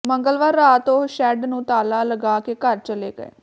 ਮੰਗਲਵਾਰ ਰਾਤ ਉਹ ਸ਼ੈੱਡ ਨੂੰ ਤਾਲਾ ਲਗਾ ਕੇ ਘਰ ਚੱਲੇ ਗਏ